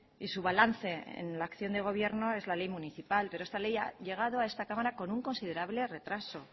y su balance en la acción de gobierno es la ley municipal pero esta ley ha llegado a esta cámara con un considerable retraso